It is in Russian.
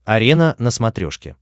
арена на смотрешке